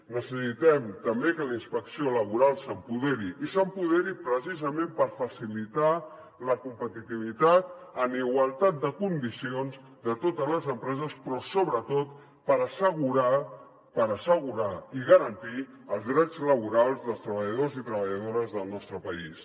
necessitem també que la inspecció laboral s’empoderi i s’empoderi precisament per facilitar la competitivitat en igualtat de condicions de totes les empreses però sobretot per assegurar per assegurar i garantir els drets laborals dels treballadors i treballadores del nostre país